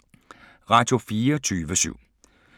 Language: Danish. Radio24syv